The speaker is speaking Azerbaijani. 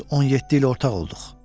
Biz düz 17 il ortaq olduq.